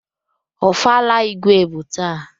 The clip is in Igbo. Ofala Igwe bụ taa.